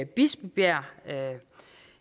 bispebjerg